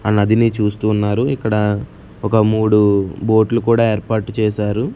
ఆ నదిని చూస్తూ ఉన్నారు ఇక్కడ ఒక మూడు బోట్ లు కూడా ఏర్పాటు చేశారు.